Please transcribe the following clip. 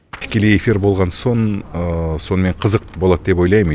тікелей эфир болған соң сонымен қызық болады деп ойлаймын